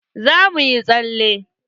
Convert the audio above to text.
Za muyi tsale.